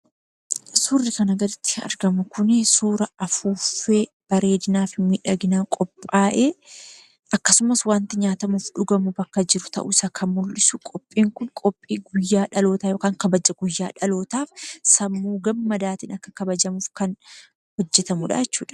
Suurri kana gaditti argamu kun, suuraa affuuffee bareedinaa fi miidhaginaa qophaa'e akkasumas waanti nyaatamu, dhugamu kan mul'isu; qophiin kun qophii guyyaa dhalootaa yookaan kabaja guyyaa dhalootaa sammuu gammadaan kabajamuuf kan hojjetamudhaa jechuudha.